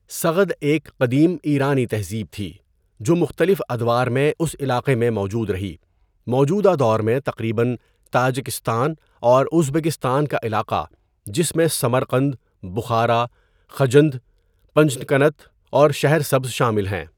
سغد ایک قدیم ایرانی تہذیب تھی جو مختلف ادوار میں اس علاقے میں موجود رہی، موجودہ دور میں تقریباً تاجکستان اور ازبکستان کا علاقہ جس میں سمرقند، بخارا، خجند، پنجکنت اور شہر سبز شامل ہیں.